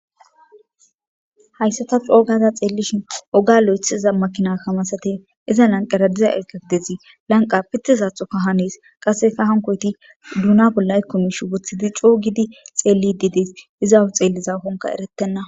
Hayssata coogaza xeellishin oga lo'ethiza makina kamasate iza lanqera diza ekefdezi lanqa pitisatxoka hanes qasseka hankoyti duuna bolla ykkomish wothidi coogidi xeellidiides iza xeelliza konka erettenna